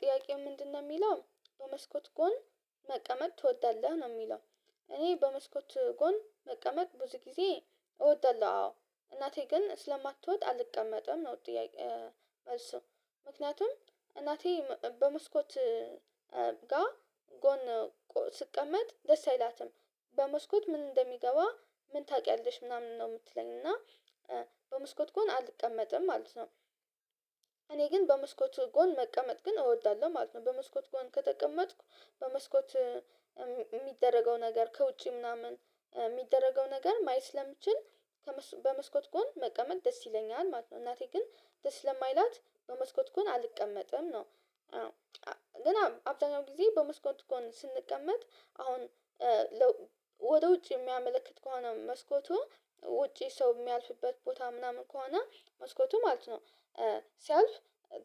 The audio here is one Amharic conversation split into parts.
ጥያቄው ምንድነው የሚለው በመስኮት ጎን መቀመጥ ትወዳለህ ነው የሚለው? እኔ በመስኮት ጎን መቀመጥ ብዙ ጊዜ እወዳለሁ አዎ እናቴ ግን ስለማትወድ አልቀመጥም ነው። ጥያቄ እሱ ምክንያቱም እናቴ በመስኮት ጋ ጎን ስቀመጥ ደስ አይላትም። በመስኮት ምን እንደሚገባ ምን ታውቂያለሽ ምናምን ነው የምትለኝ እና በመስኮት ጎን አልቀመጥም ማለት ነው። እኔ ግን በመስኮት ጎን መቀመጥ ግን እወዳለሁ ማለት ነው። በመስኮት ጎን ከተቀመጥኩ በመስኮት የሚደረገው ነገር ከውጪ ምናምን የሚደረገው ነገር ማየት ስለምችል። በመስኮት ጎን መቀመጥ ደስ ይለኛል ማለት ነው። እናቴ ግን ደስ ለማይላት በመስኮት ጎን አልቀመጥም ነው። ግን አብዛኛው ጊዜ በመስኮት ጎን ስንቀመጥ አሁን ወደ ውጭ የሚያመለክት ከሆነ መስኮቱ ውጪ ሰው የሚያልፍበት ቦታ ምናምን ከሆነ መስኮቱ ማለት ነው። ሲያልፍ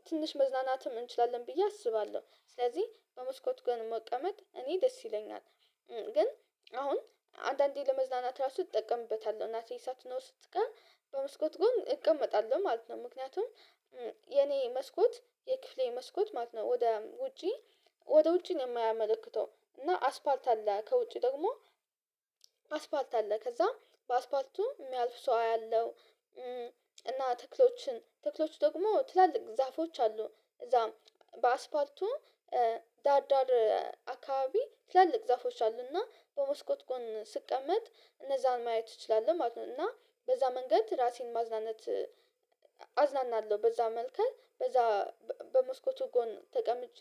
ትንሽ መዝናናትም እንችላለን ብዬ አስባለሁ። ስለዚህ በመስኮት ግን መቀመጥ እኔ ደስ ይለኛል። ግን አሁን አንዳንዴ ለመዝናናት ራሱ እጠቀምበታለሁ ናትዬ ሳትኖር ስትቀም በመስኮት ጎን እቀመጣለሁ ማለት ነው። ምክንያቱም የኔ መስኮት የክፍሌ መስኮት ማለት ነው። ወደ ውጪ ወደ ውጭ ነው የማያመለክተው እና አስፋልት አለ ከውጭ ደግሞ አስፋልት አለ ከዛ በአስፋልቱ የሚያልፍ ሰው አያለሁ። እና ትክሎችን ትክሎች ደግሞ ትላልቅ ዛፎች አሉ እዛ በአስፋልቱ ዳዳር አካባቢ ትላልቅ ዛፎች አሉና በመስኮት ጎን ስቀመጥ እነዛን ማየት እችላለሁ ማለት ነው። እና በዛ መንገድ ራሴን ማዝናነት አዝናናለሁ በዛ መልከል በዛ በመስኮቱ ጎን ተቀምጬ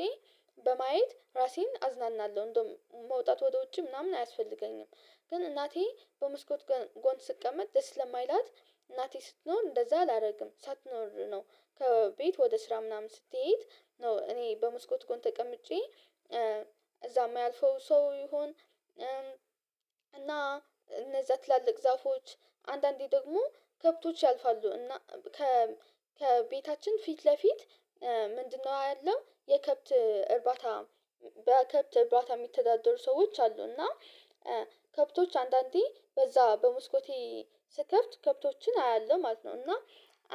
በማየት ራሴን አዝናናለሁ እንደውም መውጣት ወደ ውጭ ምናምን አያስፈልገኝም። ግን እናቴ በመስኮት ጎን ስትቀመጥ ደስ ለማይላት እናቴ ስትኖር እንደዛ አላደርግም ሳትኖር ነው። ከቤት ወደ ስራ ምናምን ስትይይት ኖ እኔ በመስኮት ጎን ተቀምጬ እዛም ያልፈው ሰው ይሁን። እና እነዛ ትላልቅ ዛፎች አንዳንዴ ደግሞ ከብቶች ያልፋሉ እና ከ ከቤታችን ፊት ለፊት ምንድነው ያለው የከብት እርባታ በከብት የሚተዳደሩ ሰዎች አሉ እና ከብቶች አንዳንዴ በዛ በመስኮቴ ስከፍት ከብቶችን አያለሁ ማለት ነው። እና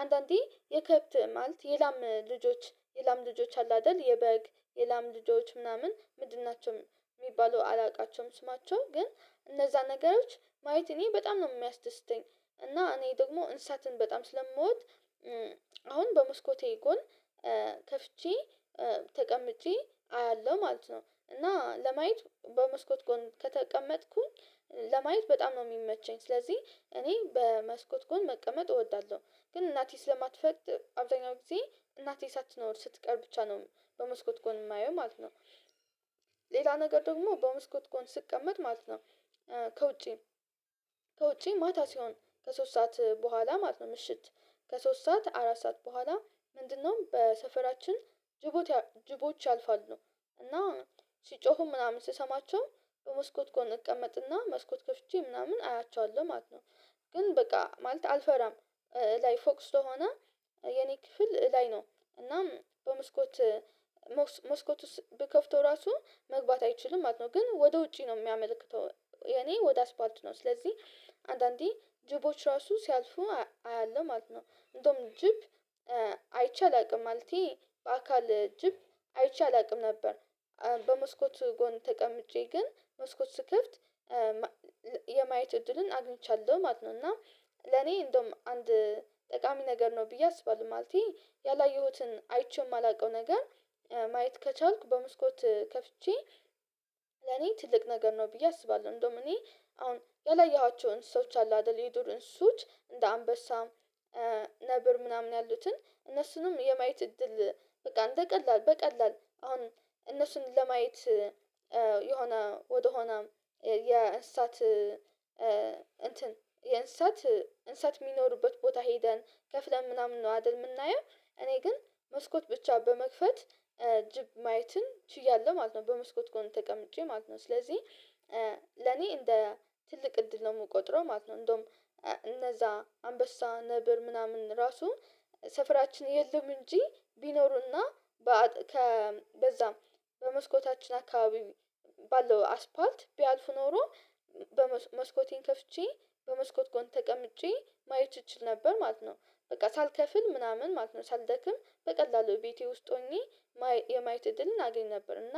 አንዳንዴ የከብት ማለት የላም ልጆች የላም ልጆች አሉ አይደል የበግ የላም ልጆች ምናምን ምድርናቸውም የሚባሉ አላውቃቸውም ስማቸው ግን እነዛ ነገሮች ማየት እኔ በጣም ነው የሚያስደስተኝ። እና እኔ ደግሞ እንሳትን በጣም ስለመወድ አሁን በመስኮቴ ጎን ከፍቼ ተቀምጬ አያለሁ ማለት ነው። እና ለማየት በመስኮት ጎን ከተቀመጥኩኝ ለማየት በጣም ነው የሚመቸኝ ስለዚህ እኔ በመስኮት ጎን መቀመጥ እወዳለሁ። ግን እናቴ ስለማትፈቅድ አብዛኛው ጊዜ እናቴ ሳትኖር ስትቀር ብቻ ነው በመስኮት ጎን የማየው ማለት ነው። ሌላ ነገር ደግሞ በመስኮት ጎን ስትቀመጥ ማለት ነው። ከውጪ ከውጪ ማታ ሲሆን ከሶስት ሰዓት በኋላ ማለት ነው ምሽት ከሶስት ሰዓት አራት ሰዓት በኋላ ምንድነው በሰፈራችን ጅቦች ያልፋሉ እና ሲጮሁ ምናምን ስሰማቸው መስኮት ጎን እቀመጥና መስኮት ከፍቼ ምናምን አያቸዋለሁ ማለት ነው። ግን በቃ ማለት አልፈራም ላይ ፎቅ ስለሆነ የኔ ክፍል ላይ ነው እናም በመስኮት መስኮት ውስጥ ብከፍተው ራሱ መግባት አይችልም ማለተ ነው። ግን ወደ ውጪ ነው የሚያመለክተው የኔ ወደ አስፓልት ነው ስለዚህ አንዳንዴ ጅቦች ራሱ ሲያልፉ አያለሁ ማለት ነው። እንደውም ጅብ አይቼ አላውቅም ማለቴ በአካል ጅብ አይቼ አላውቅም ነበር። በመስኮት ጎን ተቀምጬ ግን መስኮት ስክፍት የማየት እድልን አግኝቻለሁ ማለት ነው። እና ለኔ እንደውም አንድ ጠቃሚ ነገር ነው ብዬ አስባለሁ ማለቴ ያላየሁትን አይቼ የማላውቀው ነገር ማየት ከቻልኩ በመስኮት ከፍቼ ለኔ ትልቅ ነገር ነው ብዬ አስባለሁ። እንደውም እኔ አሁን ያላየኋቸውን እንሰሶች አሉ አይደል የዱርን ሱት እንደ አንበሳ ነብር ምናምን ያሉትን እነሱንም የማየት እድል በቃ እንደ ቀላል በቀላል አሁን እነሱን ለማየት የሆነ ወደሆነ የእንስሳት እንትን እንስሳት የሚኖሩበት ቦታ ሄደን ከፍለን ምናምን ነው አይደል የምናየው? እኔ ግን መስኮት ብቻ በመክፈት ጅብ ማየትን ችያለሁ ማለት ነው። በመስኮት ጎን ተቀምጬ ማለት ነው ስለዚህ ለኔ እንደ ትልቅ እድል ነው የምቆጥረው ማለት ነው። እንደውም እነዛ አንበሳ ነብር ምናምን ራሱ ሰፈራችን የለም። እንጂ ቢኖሩና በዛም በመስኮታችን አካባቢ ባለው አስፋልት ቢያልፉ ኖሮ በመስኮቴን ከፍቼ በመስኮት ጎን ተቀምጬ ማየት እችል ነበር ማለት ነው። በቃ ሳልከፍል ምናምን ማለት ነው ሳልደክም በቀላሉ ቤቴ ውስጥ ሆኜ የማየት እድልን አገኝ ነበር እና